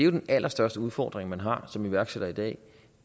den allerstørste udfordring man har som iværksætter i dag